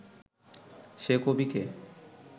সে কবি কে